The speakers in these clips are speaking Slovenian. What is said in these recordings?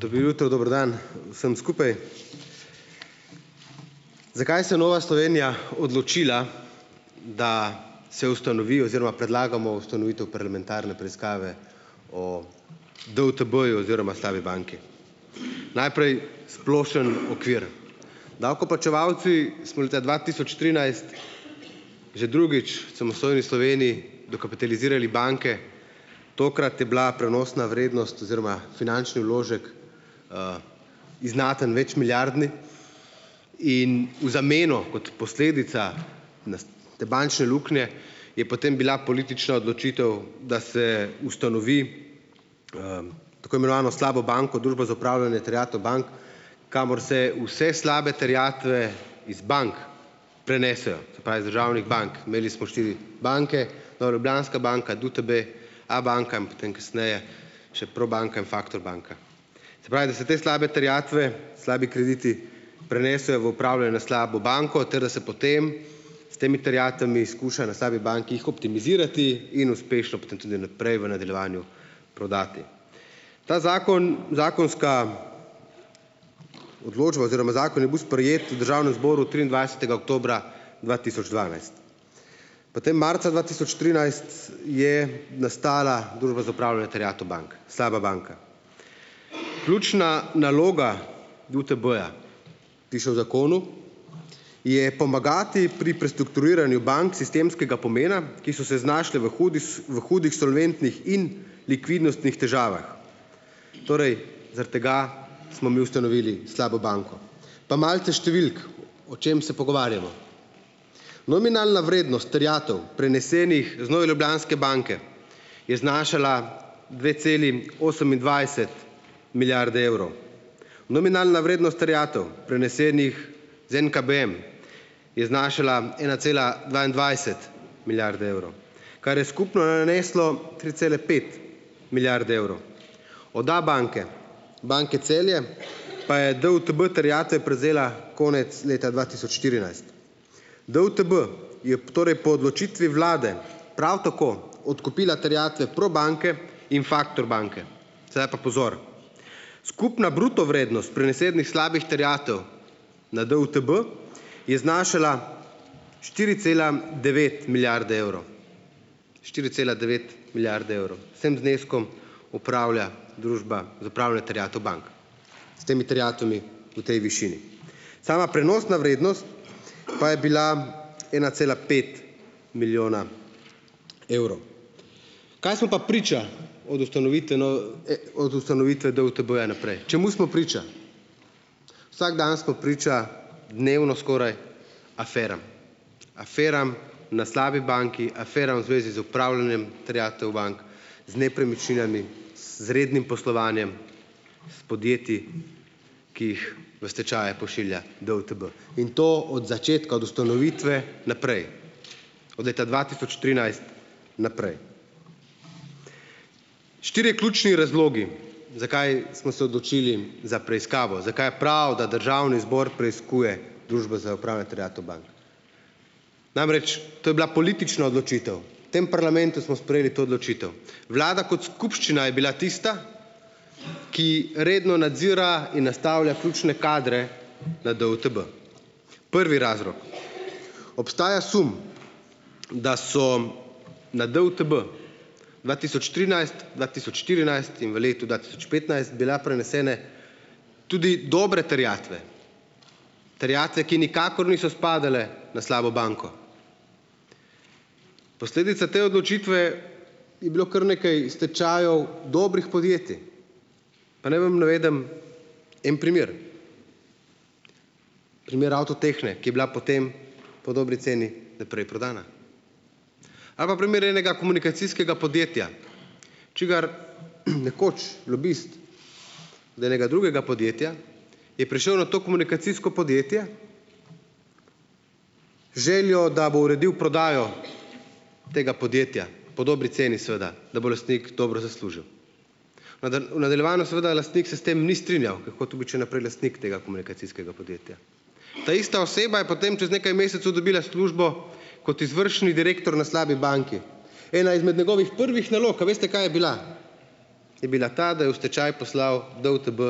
Dobro jutro, dober dan vsem skupaj! Zakaj se je Nova Slovenija odločila, da se ustanovi oziroma predlagamo ustanovitev parlamentarne preiskave o DUTB-ju oziroma slabi banki? Najprej splošen okvir. Davkoplačevalci smo leta dva tisoč trinajst že drugič v samostojni Sloveniji dokapitalizirali banke, tokrat je bila prenosna vrednost oziroma finančni vložek znaten, večmilijardni, in v zameno kot posledica te bančne luknje je potem bila politična odločitev, da se ustanovi tako imenovano slabo banko, Družbo za upravljanje terjatev bank, kamor se vse slabe terjatve iz bank prenesejo. Se pravi iz državnih bank. Imeli smo štiri banke - Nova Ljubljanska banka, DUTB, Abanka in potem kasneje, še Probanka in Faktor banka. Se pravi, da se te slabe terjatve, slabi krediti prenesejo v upravljanje v slabo banko ter da se potem s temi terjatvami skuša na slabi banki jih optimizirati in uspešno potem tudi naprej, v nadaljevanju, prodati. Ta zakon zakonska odločba oziroma zakon je bil sprejet v Državnem zboru triindvajsetega oktobra dva tisoč dvanajst. Potem marca dva tisoč trinajst c je nastala Družba za upravljanje terjatev bank - slaba banka. Ključna naloga DUTB-ja, ki so v zakonu, je pomagati pri prestrukturiranju bank sistemskega pomena, ki so se znašle v hudih v hudih solventnih in likvidnostnih težavah. Torej, zaradi tega smo mi ustanovili slabo banko. Pa malce številk, o čem se pogovarjamo. Nominalna vrednost terjatev, prenesenih z Nove Ljubljanske banke, je znašala dve celi osemindvajset milijarde evrov. Nominalna vrednost terjatev, prenesenih z NKBM, je znašala ena cela dvaindvajset milijarde evrov, kar je skupno naneslo tri cele pet milijarde evrov. Od Abanke, Banke Celje pa je DUTB terjatve prevzela konec leta dva tisoč štirinajst. DUTB je torej po odločitvi vlade prav tako odkupila terjatve Probanke in Faktor banke. Sedaj pa pozor, skupna bruto vrednost prenesenih slabih terjatev na DUTB je znašala štiri cela devet milijarde evrov, štiri cela devet milijarde evrov. S tem zneskom upravlja Družba za upravljanje terjatev bank, s temi terjatvami v tej višini. Sama prenosna vrednost pa je bila ena cela pet milijona evrov. Kaj smo pa priča od ustanovitve od ustanovitve DUTB-ja naprej, čemu smo priča? Vsak dan smo priča dnevno skoraj aferam, aferam na slabi banki, aferam v zvezi z upravljanjem terjatev bank, z nepremičninami, s z rednim poslovanjem, s podjetji, ki jih v stečaje pošilja DUTB, in to od začetka, od ustanovitve naprej, od leta dva tisoč trinajst naprej. Štirje ključni razlogi, zakaj smo se odločili za preiskavo, zakaj je prav, da Državni zbor preiskuje Družbo za upravljanje terjatev bank. Namreč to je bila politična odločitev, v tem parlamentu smo sprejeli to odločitev. Vlada kot skupščina je bila tista, ki redno nadzira in nastavlja ključne kadre na DUTB. Prvi razlog: obstaja sum, da so na DUTB dva tisoč trinajst, dva tisoč štirinajst in v letu dva tisoč petnajst bila prenesene tudi dobre terjatve, terjatve, ki nikakor niso spadale na slabo banko. Posledica te odločitve je bilo kar nekaj stečajev dobrih podjetij, pa naj vam navedem en primer, primer Avtotehne, ki je bila potem po dobri ceni naprej prodana. Ali pa primer enega komunikacijskega podjetja, čigar nekoč lobist od enega drugega podjetja je prišel na to komunikacijsko podjetje z željo, da bo uredil prodajo tega podjetja po dobri ceni seveda, da bo lastnik dobro zaslužil. Vendar v nadaljevanju seveda lastnik se s tem ni strinjal, ker je hotel biti še naprej lastnik tega komunikacijskega podjetja. Ta ista oseba je potem čez nekaj mesecu dobila službo kot izvršni direktor na slabi banki. Ena izmed njegovih prvih nalog, a veste, kaj je bila? Je bila ta, da je v stečaj poslal DUTB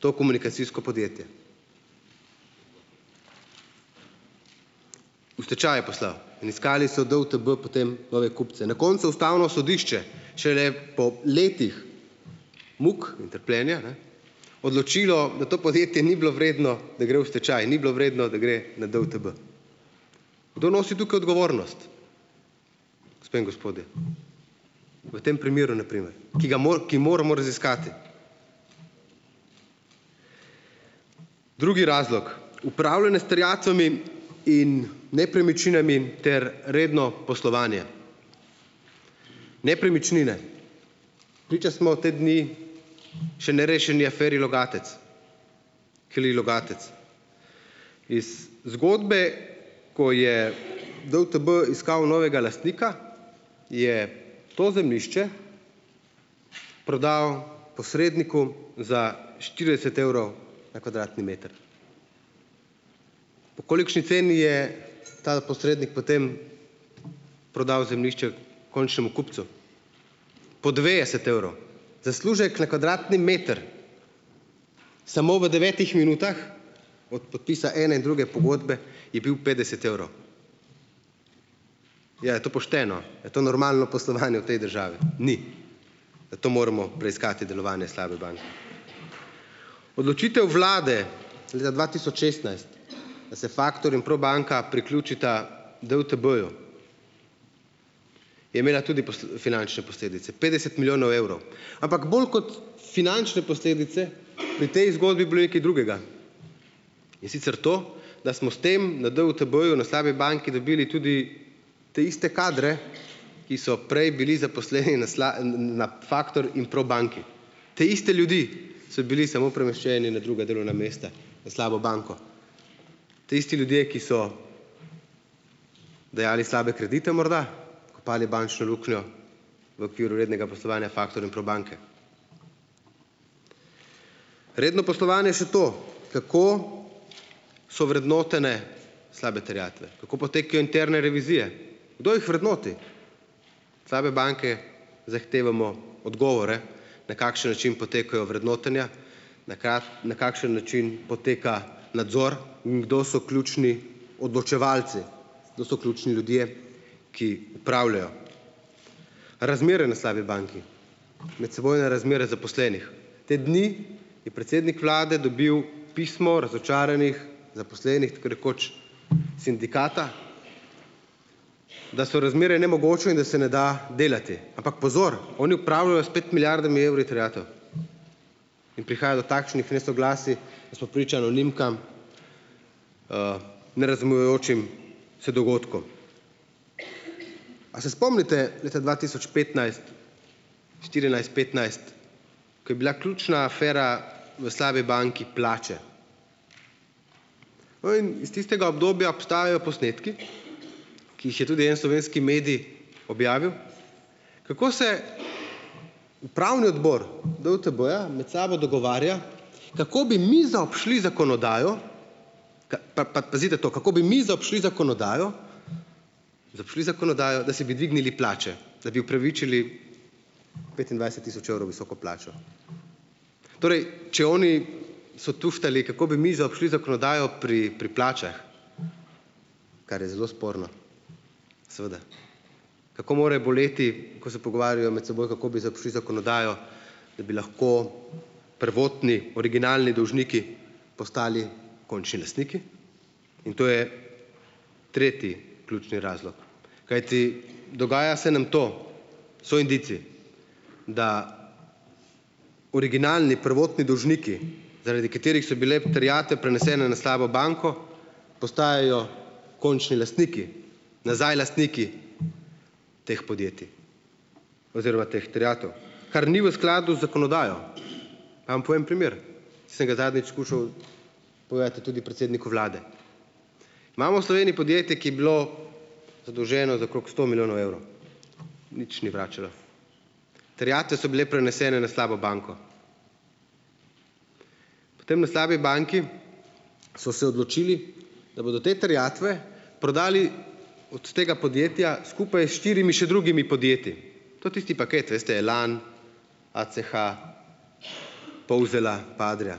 to komunikacijsko podjetje. V stečaj je poslal in iskali so DUTB potem nove kupce. Na koncu ustavno sodišče šele po letih muk in trpljenja, ne, odločilo, da to podjetje ni bilo vredno, da gre v stečaj, ni bilo vredno, da gre na DUTB. Kdo nosi tukaj odgovornost, gospe in gospodje? V tem primeru, na primer, ki ga ki moramo raziskati. Drugi razlog: upravljanje s terjatvami in nepremičninami ter redno poslovanje. Nepremičnine, priča smo te dni še nerešeni aferi Logatec, Kli Logatec. Iz zgodbe, ko je DUTB iskal novega lastnika, je to zemljišče prodal posredniku za štirideset evrov na kvadratni meter. Po kolikšni ceni je ta posrednik potem prodal zemljišče končnemu kupcu? Po devetdeset evrov. Zaslužek na kvadratni meter samo v devetih minutah, od podpisa ene in druge pogodbe, je bil petdeset evrov. Ja, kaj to pošteno? Kaj to normalno poslovanje v tej državi? Ni, zato moramo preiskati delovanje slabe banke. Odločitev vlade leta dva tisoč šestnajst, da se Faktor in Probanka priključita DUTB-ju, je imela tudi finančne posledice - petdeset milijonov evrov. Ampak bolj kot finančne posledice, pri tej zgodbi bilo je kaj drugega, in sicer to, da smo s tem na DUTB-ju, na slabi banki, dobili tudi te iste kadre, ki so prej bili zaposleni na na Faktor in Probanki, te iste ljudi. So bili samo premeščeni na druga delovna mesta na slabo banko. Ti isti ljudje, ki so dajali slabe kredite, morda padli bančno luknjo v okviru rednega poslovanja Faktor in Probanke. Redno poslovanje, še to. Kako so vrednotene slabe terjatve, kako potekajo interne revizije, kdo jih vrednoti? Slabe banke zahtevamo odgovore na kakšen način potekajo vrednotenja, na na kakšen način poteka nadzor in kdo so ključni odločevalci, kdo so ključni ljudje, ki upravljajo? Razmere na slabi banki, medsebojne razmere zaposlenih. Te dni je predsednik vlade dobil pismo o razočaranih zaposlenih tako rekoč sindikata, da so razmere nemogoče in da se ne da delati, ampak pozor, oni upravljajo s pet milijardami evri terjatev in prihaja do takšnih nesoglasij, da smo priča anonimkam, nerazumevajočim se dogodkom. A se spomnite leta dva tisoč petnajst, štirinajst, petnajst, ko je bila ključna afera v slabi banki - plače? Oem iz tistega obdobja obstajajo posnetki, ki jih je tudi en slovenski medij objavil, kako se upravni odbor DUTB-ja med sabo dogovarja, kako bi mi zaobšli zakonodajo - ko pa pa, pazite to, kako bi mi zaobšli zakonodajo -, zaobšli zakonodajo, da si bi dvignili plače, da bi opravičili petindvajset tisoč evrov visoko plačo. Torej, če oni so tuhtali, kako bi mi zaobšli zakonodajo pri pri plačah, kar je zelo sporno. Seveda, kako more boleti, ko se pogovarjajo med seboj, kako bi zaobšli zakonodajo, da bi lahko prvotni originalni dolžniki postali končni lastniki in to je tretji ključni razlog. Kajti, dogaja se nam to, so indici, da originalni prvotni dolžniki, zaradi katerih so bile terjatve prenesene na slabo banko, postajajo končni lastniki, nazaj lastniki teh podjetij oziroma teh terjatev, kar ni v skladu z zakonodajo. Vam povem primer, sem ga zadnjič skušal povedati tudi predsedniku vlade. Imamo v Sloveniji podjetje, ki je bilo zadolženo za okrog sto milijonov evrov, nič ni vračalo. Terjatve so bile prenesene na slabo banko. Tam na slabi banki so se odločili, da bodo te terjatve prodali od tega podjetja skupaj s štirimi še drugimi podjetji. To je tisti paket veste - Elan, ACH, Polzela pa Adria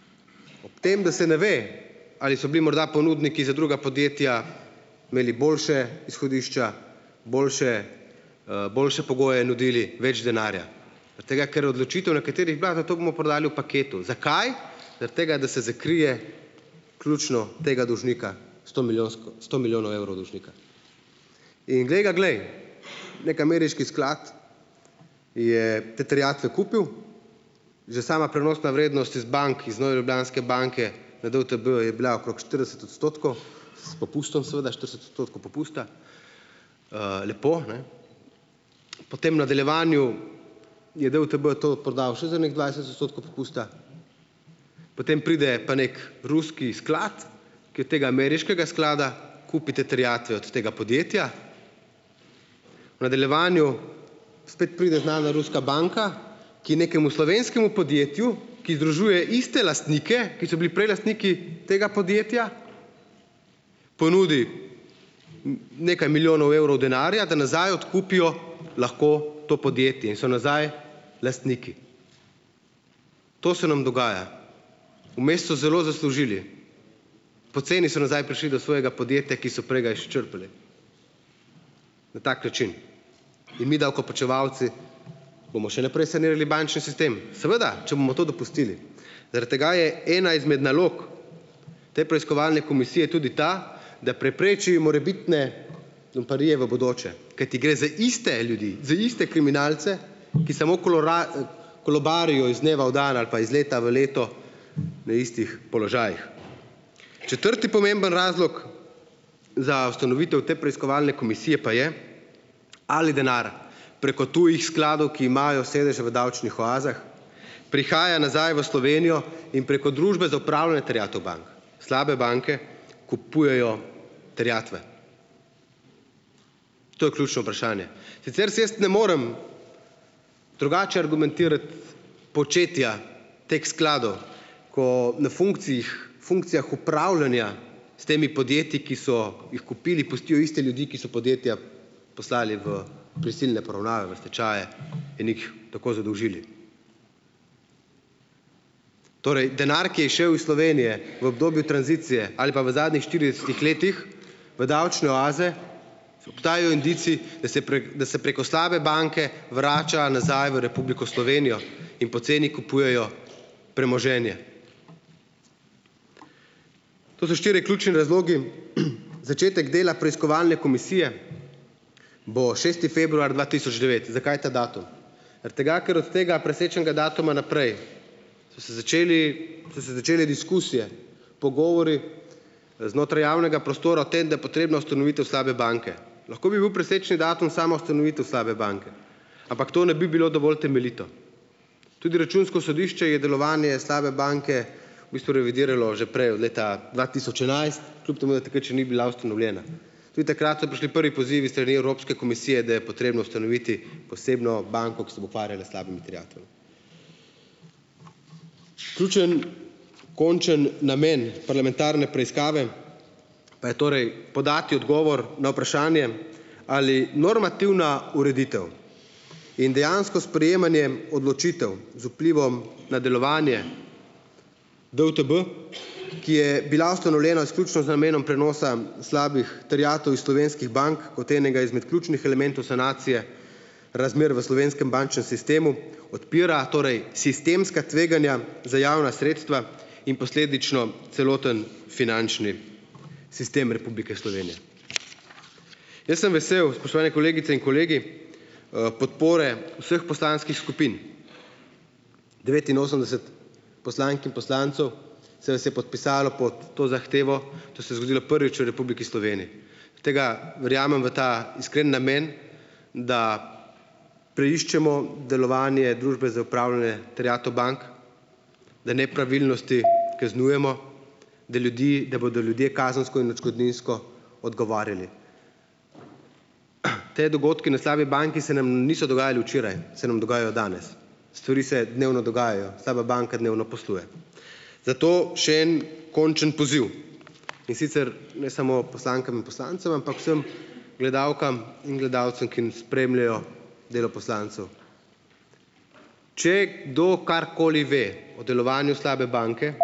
- ob tem, da se ne ve, ali so bili morda ponudniki za druga podjetja imeli boljša izhodišča, boljše boljše pogoje nudili, več denarja. Zaradi tega, ker odločitev, na kateri je bila, za toliko bomo prodali v paketu. Zakaj? Zaradi tega, da se zakrije ključno tega dolžnika, stomilijonsko sto milijonov evrov dolžnika. In glej ga, glej, neki ameriški sklad je te terjatve kupil, že sama prenosna vrednost iz bank, iz Nove Ljubljanske banke na DUTB je bila okrog štirideset odstotkov s popustom, seveda, štirideset odstotkov popusta, lepo, ne, potem v nadaljevanju je DUTB to odprodal še za ene dvajset odstotkov popusta, potem pride pa neki ruski sklad, ki od tega ameriškega sklada kupi te terjatve od tega podjetja. V nadaljevanju spet pride znana ruska banka, ki nekemu slovenskemu podjetju, ki združuje iste lastnike, ki so bili prej lastniki tega podjetja ponudi nekaj milijonov evrov denarja, da nazaj odkupijo lahko to podjetje in so nazaj lastniki. To se nam dogaja. Vmes so zelo zaslužili, poceni so nazaj prišli do svojega podjetja, ki so prej ga izčrpali. Na tak način in mi davkoplačevalci bomo še naprej sanirali bančni sistem, seveda, če bomo to dopustili. Zaradi tega je ena izmed nalog te preiskovalne komisije tudi ta, da prepreči morebitne lumparije v bodoče, kajti gre za iste ljudi, za iste kriminalce, ki samo kolobarijo iz dneva v dan ali pa iz leta v leto na istih položajih. Četrti pomemben razlog za ustanovitev te preiskovalne komisije pa je, ali denar preko tujih skladov, ki imajo sedeže v davčnih oazah, prihaja nazaj v Slovenijo in preko Družbe za upravljanje terjatev bank, slabe banke, kupujejo terjatve. To je ključno vprašanje. Sicer si jaz ne morem drugače argumentirati početja teh skladov, ko na funkcijih funkcijah upravljanja s temi podjetji, ki so jih kupili, pustijo iste ljudi, ki so podjetja poslali v prisilne poravnave, v stečaje in jih tako zadolžili. Torej denar, ki je šel iz Slovenije v obdobju tranzicije ali pa v zadnjih štiridesetih letih v davčne oaze, obstajajo indici, da se prek da se preko slabe banke vrača nazaj v Republiko Slovenijo in poceni kupujejo premoženje. To so štirje ključni razlogi. Začetek dela preiskovalne komisije bo šesti februar dva tisoč devet. Zakaj ta datum? Zaradi tega, ker od tega presečnega datuma naprej so se začeli so se začele diskusije, pogovori znotraj javnega prostora o tem, da je potrebna ustanovitev slabe banke. Lahko bi bil presečni datum sama ustanovitev slabe banke, ampak to ne bi bilo dovolj temeljito. Tudi Računsko sodišče je delovanje slabe banke v bistvu revidiralo že prej, od leta dva tisoč enajst, kljub temu da takrat še ni bila ustanovljena. Tudi takrat so prišli prvi pozivi s strani Evropske komisije, da je potrebno ustanoviti posebno banko, ki se bo ukvarjala s slabimi terjatvami. Ključni končni namen parlamentarne preiskave pa je torej podati odgovor na vprašanje, ali normativna ureditev in dejansko sprejemanje odločitev z vplivom na delovanje DUTB, ki je bila ustanovljena izključno z namenom prenosa slabih terjatev iz slovenskih bank kot enega izmed ključnih elementov sanacije razmer v slovenskem bančnem sistemu, odpira torej sistemska tveganja za javna sredstva in posledično celoten finančni sistem Republike Slovenije. Jaz sem vesel, spoštovane kolegice in kolegi, podpore vseh poslanskih skupin, devetinosemdeset poslank in poslancev se vas je podpisalo pod to zahtevo, to se je zgodilo prvič v Republiki Sloveniji. Tega verjamem v ta iskreni namen, da preiščemo delovanje Družbe za upravljanje terjatev bank, da nepravilnosti kaznujemo , da ljudi da bodo ljudje kazensko in odškodninsko odgovarjali. Ti dogodki na slabi banki se nam niso dogajali včeraj, se nam dogajajo danes; stvari se dnevno dogajajo, slaba banka dnevno posluje. Zato še en končni poziv, in sicer ne samo poslankam in poslancem, ampak vsem gledalkam in gledalcem, ko spremljajo delo poslancu: Če kdo karkoli ve o delovanju slabe banke,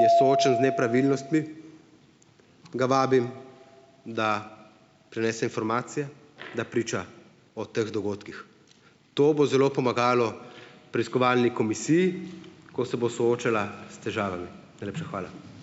je soočen z nepravilnostmi , ga vabim, da prenese informacije, da priča o teh dogodkih. To bo zelo pomagalo preiskovalni komisiji, ko se bo soočala s težavami. Najlepša hvala.